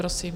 Prosím.